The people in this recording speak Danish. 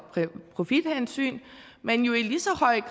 profithensyn men lige så